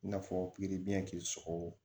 I n'a fɔ pikiribiyɛn k'i sɔgɔ